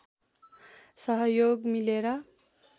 सहयोग मिलेर